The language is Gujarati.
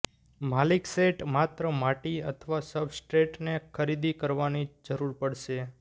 માલિક સેટ માત્ર માટી અથવા સબસ્ટ્રેટને ખરીદી કરવાની જરૂર પડશે